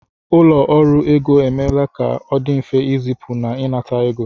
Ụlọ ọrụ ego emeela ka ọ dị mfe ịzipu na ịnata ego